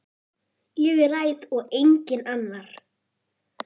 Ég ræð og enginn annar.